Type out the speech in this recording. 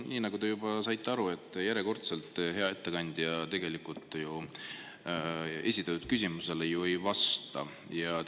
Nii nagu te juba aru saite, järjekordselt hea ettekandja tegelikult ju esitatud küsimusele ei vastanud.